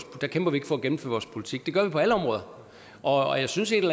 der kæmper vi ikke for at gennemføre vores politik det gør vi på alle områder og jeg synes at